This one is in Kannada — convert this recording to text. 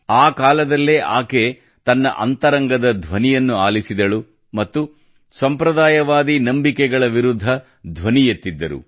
ಆ ಕಾಲದಲ್ಲೇ ಆಕೆ ತನ್ನ ಅಂತರಂಗದ ಧ್ವನಿಯನ್ನು ಆಲಿಸಿದಳು ಮತ್ತು ಸಂಪ್ರದಾಯವಾದಿ ನಂಬಿಕೆಗಳ ವಿರುದ್ಧ ಧ್ವನಿ ಎತ್ತಿದ್ದರು